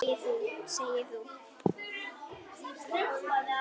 Segir þú.